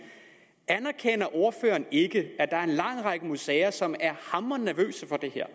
anerkender ordføreren ikke at der er en lang række museer som er hamrende nervøse for det her